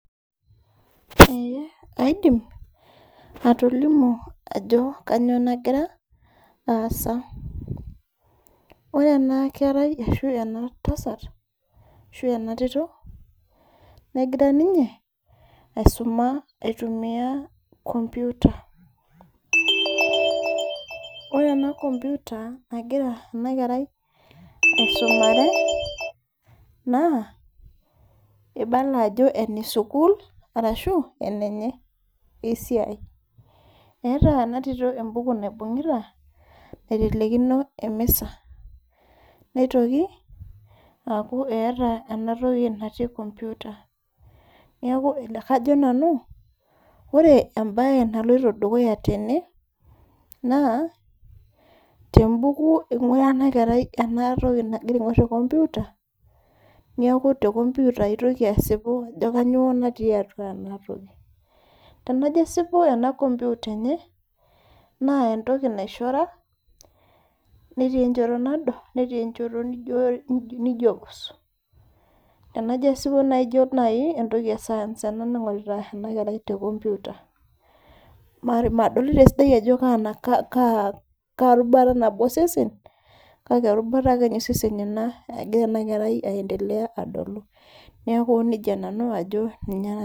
Ee kaidim, atolimu ajo kanyioo nagira aasa. Ore ena kerai ashu ena tasat, ashu ena tito, negira ninye aisuma aitumia computer. Ore ena computer nagira enakerai aisumare, naa, ibala ajo ene sukuul, arashu enenye esiai. Eeta enatito ebuku naibung'ita, naitelekino emisa. Nitoki aku eeta enatoki natii computer. Neeku kajo nanu, ore ebae naloito dukuya tene, naa, tebuku ing'ura enakerai enatoki nagira aing'or te computer, niaku te computer itoki asipu ajo kanyioo natii atua enatoki. Tenajo asipu ena computer enye, naa entoki naishora, netii enchoto nado, netii enchoto nijo pus. Enajo asipu naijo nai entoki e science ena naing'orita enakerai te computer. Madolita esidai ajo karubata nabo osesen, kake erubata akenye osesen ina egira enakerai aendelea adolu. Neeku nejia nanu ajo ninye